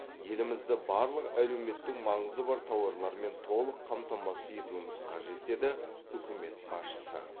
елімізді барлық әлеуметтік маңызы бар тауарлармен толық қамтамасыз етуіміз қажет деді үкімет басшысы